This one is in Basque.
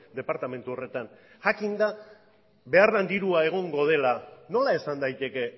departamentu horretan jakinda behar den dirua egongo dela nola esan daiteke